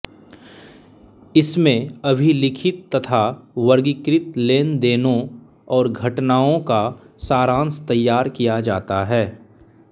इसमें अभिलिखित तथा वर्गीकृत लेनदेनों और घटनाओं का सारांश तैयार किया जाता है